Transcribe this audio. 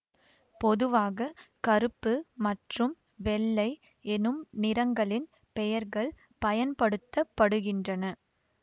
பொதுவாக கருப்பு மற்றும் வெள்ளை எனும் நிறங்களின் பெயர்கள் பயன்படுத்த படுகின்றன